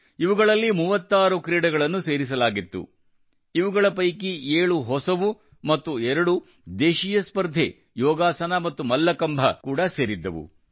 ಇವುಗಳಲ್ಲಿ 36 ಕ್ರೀಡೆಗಳನ್ನು ಸೇರಿಸಲಾಗಿತ್ತು ಇವುಗಳ ಪೈಕಿ 7 ಹೊಸಾ ಮತ್ತು ಎರಡು ದೇಶೀಯ ಸ್ಪರ್ಧೆ ಯೋಗಾಸನ ಮತ್ತು ಮಲ್ಲಕಂಭ ಕೂಡಾ ಸೇರಿದ್ದವು